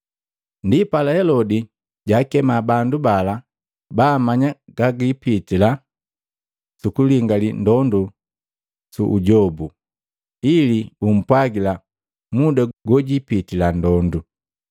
Ndipala Helodi jaakema bandu bala baamanya gagipitila sukulingali ndondu su ujobu, ili bumpwagila muda gojipitila ndondu.